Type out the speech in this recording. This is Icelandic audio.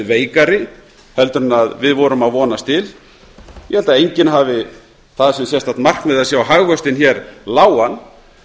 veikari en við vonuðumst til ég held að enginn hafi það sem sérstakt markmið að sjá hagvöxtinn hér lágan